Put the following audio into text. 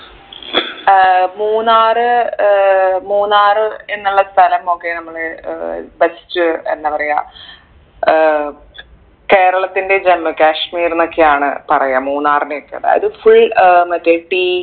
ഏർ മൂന്നാർ ഏർ മൂന്നാർ എന്നുള്ള സ്ഥലം ഒക്കെ നമ്മൾ ഏർ best എന്താ പറയാ ഏർ കേരളത്തിന്റെ ജമ്മു കാശ്മീർ ന്നൊക്കെയാണ് പറയാ മൂന്നാറിനെ ഒക്കെ അതായത് full ഏർ മറ്റേ tea